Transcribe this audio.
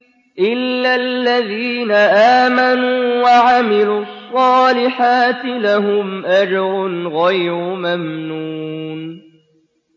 إِلَّا الَّذِينَ آمَنُوا وَعَمِلُوا الصَّالِحَاتِ لَهُمْ أَجْرٌ غَيْرُ مَمْنُونٍ